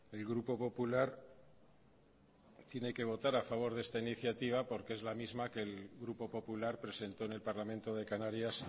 el grupo popular tiene que votar a favor de esta iniciativa porque es la misma que el grupo popular presentó en el parlamento de canarias